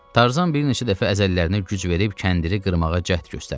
Tarzan bir neçə dəfə əzələrinə güc verib kəndiri qırmağa cəhd göstərdi.